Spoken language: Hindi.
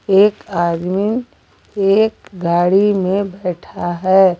एक आदमी एक गाड़ी में बैठा है।